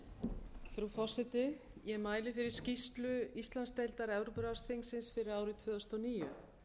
frú forseti ég mæli fyrir skýrslu íslandsdeildar evrópuráðsþingsins fyrir árið tvö þúsund og níu